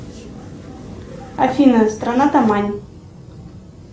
афина страна тамань